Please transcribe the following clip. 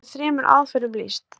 hér verður þremur aðferðum lýst